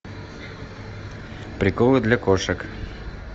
приколы для кошек